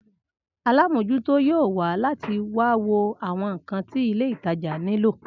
Alámòjútó yóò wà láti wá wo àwọn ǹkan tí ilé ìtajà nilo